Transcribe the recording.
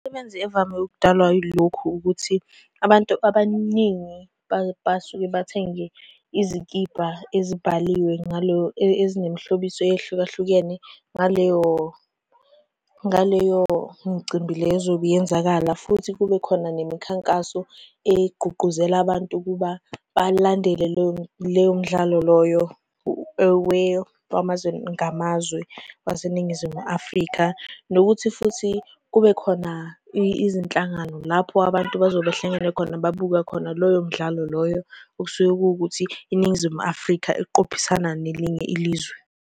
Imisebenzi evame ukudalwa ilokhu ukuthi abantu abaningi basuke bathenge izikibha ezibhaliwe ezinemihlobiso eyehlukahlukene ngaleyo ngaleyo micimbi leyo ezobe yenzakala, futhi kube khona nemikhankaso egqugquzela abantu ukuba balandele leyo mdlalo loyo wamazwe ngamazwe waseNingizimu Afrika. Nokuthi futhi, kube khona izinhlangano lapho abantu bazobe behlangene khona bebuka khona loyo mdlalo loyo, osuke kuwukuthi iNingizimu Afrika iqophisane nelinye ilizwe.